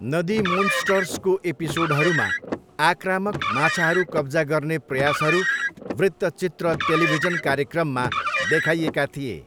नदी मोन्स्टर्सको एपिसोडहरूमा आक्रामक माछाहरू कब्जा गर्ने प्रयासहरू वृत्तचित्र टेलिभिजन कार्यक्रममा देखाइएका थिए।